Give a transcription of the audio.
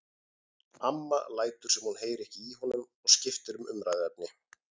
Amma lætur sem hún heyri ekki í honum og skiptir um umræðuefni.